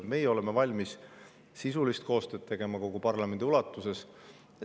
Meie oleme valmis sisulist koostööd tegema kogu parlamendi ulatuses.